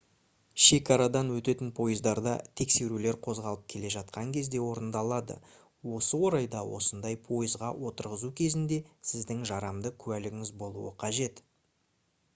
шекарадан өтетін пойыздарда тексерулер қозғалып келе жатқан кезде орындалады осы орайда осындай пойызға отырғызу кезінде сіздің жарамды куәлігіңіз болуы қажет